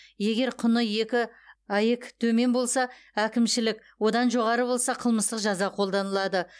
егер құны екі аек төмен болса әкімшілік одан жоғары болса қылмыстық жаза қолданылады